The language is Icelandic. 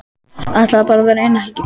Ætlaði bara að vera eina helgi.